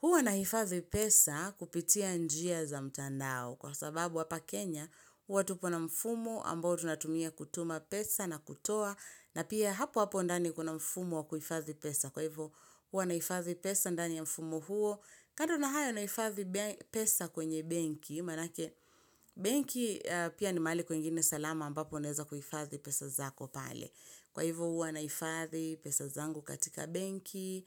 Huwa na hifadhi pesa kupitia njia za mtandao kwa sababu hapa Kenya huwa tupo na mfumo ambao tunatumia kutuma pesa na kutoa na pia hapo hapo ndani kuna mfumo wa kuhifadhi pesa. Kwa hivyo huwa nahifadhi pesa ndani ya mfumo huo. Kando na hayo nahifadhi pesa kwenye benki, manake benki aaaa pia ni mahali kwengine salama ambapo unaeza kuhifadhi pesa zako pale. Kwa hivyo huwa naifazi pesa zangu katika banki.